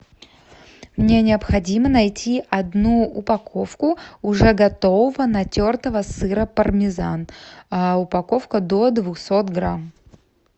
мне необходимо найти одну упаковку уже готового натертого сыра пармезан упаковка до двухсот грамм